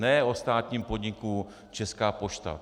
Ne o státním podniku Česká pošta.